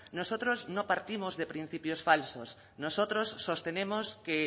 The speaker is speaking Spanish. nosotros no partimos de principios falsos nosotros sostenemos que